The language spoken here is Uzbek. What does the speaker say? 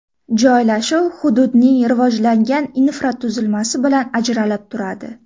Joylashuv hududning rivojlangan infratuzilmasi bilan ajralib turadi.